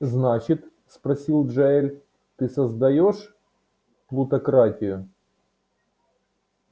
значит спросил джаэль ты создаёшь плутократию